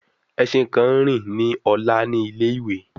Ẹṣin kan nrin ni ọla ni ile-iwe